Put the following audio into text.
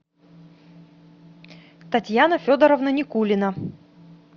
татьяна федоровна никулина